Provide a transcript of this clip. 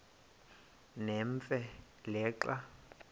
nemfe le xa